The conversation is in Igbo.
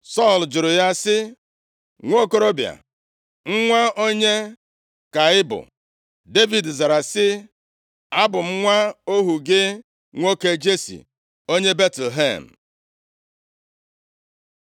Sọl jụrụ ya sị, “Nwokorobịa, nwa onye ka ị bụ?” Devid zara sị, “Abụ m nwa ohu gị nwoke Jesi onye Betlehem.”